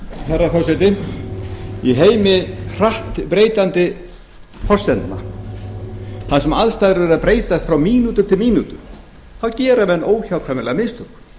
herra forseti í heimi hratt breytandi forsendna þar sem aðstæður eru að breytast frá mínútu til mínútu gera menn óhjákvæmilega mistök